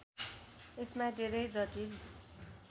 यसमा धेरै जटिल